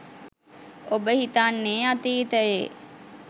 ඔබ හිතන්නේ අතීතයේ